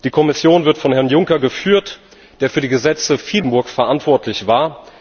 Die Kommission wird von Herrn Juncker geführt, der für die Gesetze in Luxemburg viele Jahre verantwortlich war.